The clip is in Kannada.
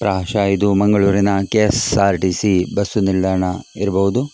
ಪ್ರಹಷಃ ಇದು ಮಂಗಳೂರಿನ ಕೆ.ಎಸ.ಆರ್.ಟಿ.ಸಿ ಬಸ್ಸು ನಿಲ್ದಾಣ ಇರಬಹುದು .